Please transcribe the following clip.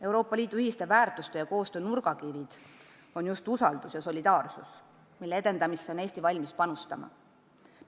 Euroopa Liidu ühiste väärtuste ja koostöö nurgakivid on just usaldus ja solidaarsus, mille edendamisse on Eesti valmis panustama.